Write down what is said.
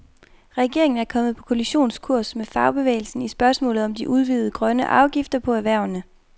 Regeringen er kommet på kollisionskurs med fagbevægelsen i spørgsmålet om de udvidede grønne afgifter på erhvervene.